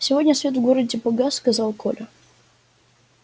сегодня свет в городе погас сказал коля